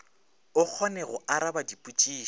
o kgone go araba dipotšišo